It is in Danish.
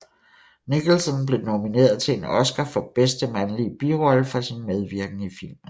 Nicholson blev nomineret til en Oscar for bedste mandlige birollefor sin medvirken i filmen